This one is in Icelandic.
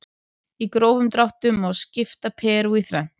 Í grófum dráttum má skipta Perú í þrennt.